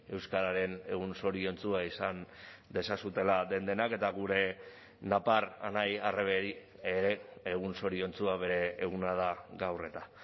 euskararen egun zoriontsua izan dezazuela den denak eta gure napar anai arrebei ere egun zoriontsua bere eguna da gaur eta